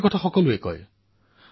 এয়া সকলোৱে জানে